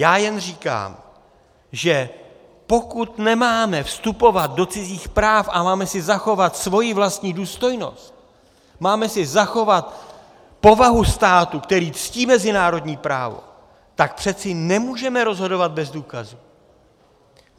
Já jen říkám, že pokud nemáme vstupovat do cizích práv a máme si zachovat svoji vlastní důstojnost, máme si zachovat povahu státu, který ctí mezinárodní právo, tak přeci nemůžeme rozhodovat bez důkazů.